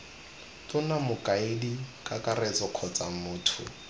tona mokaedi kakaretso kgotsa motho